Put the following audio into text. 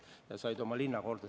Ta sai on oma linna korda.